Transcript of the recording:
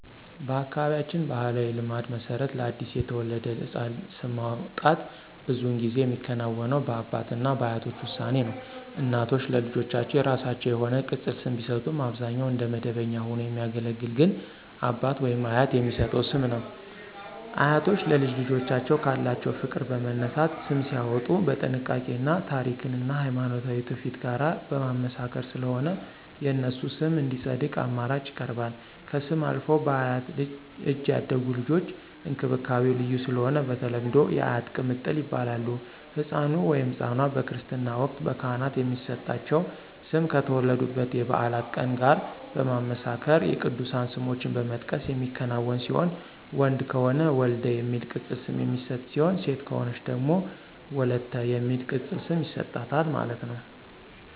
በአካባቢያችን ባሕላዊ ልማድ መሰረት ለአዲስ የተወለደ ሕፃን ስም ማውጣት ብዙውን ጊዜ የሚከናወነው በአባት እና በአያቶች ውሳኔ ነው። እናቶች ለልጆቻቸው የራሳቸው የሆነ ቅፅል ስም ቢሰጡም አብዛኛውን እንደ መደበኛ ሆኖ የሚያገለግል ግን አባት/አያት የሚሰጠው ስም ነው። አያቶች ለልጅ ልጆቻቸው ካላቸው ፍቅር በመነሳት ስም ሲያዎጡ በጥንቃቄ እና ታሪክን እና ሀይማኖታዊ ትውፊት ጋር በማመሳከር ስለሆነ የነሱ ስም እንዲፀድቅ አማራጭ ይቀርባል። ከስም አልፈው በአያት እጅ ያደጉ ልጆች እንክብካቤው ልዩ ስለሆነ በተለምዶ *የአያት ቅምጥል ይባላሉ*።ህፃኑ/ኗ በክርስትና ወቅት በካህናት የሚሰጣቸው ስም ከተወለዱበት የበዓላት ቀን ጋር በማመሳከር የቅዱሳን ስሞችን በመጥቀስ የሚከናወን ሲሆን ወንድ ከሆነ *ወልደ* የሚል ቅፅል ስም የሚሰጥ ሲሆን ሴት ከሆነች ደግሞ *ወለተ*የሚል ቅፅል ስም ይሰጣታል ማለት ነው